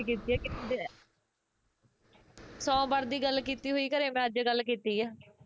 ਕੀਤੀ ਐ ਕੀਤੀ ਐ ਸੋਮਵਾਰ ਦੀ ਗੱਲ ਕੀਤੀ ਹੋਈ ਘਰੇ ਮੈਂ ਅੱਜ ਗੱਲ ਕੀਤੀ ਐ